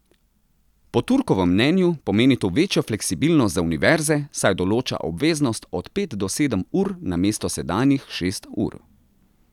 Po Turkovem mnenju pomeni to večjo fleksibilnost za univerze, saj določa obveznost od pet do sedem ur namesto sedanjih šest ur.